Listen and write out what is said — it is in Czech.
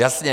Jasně.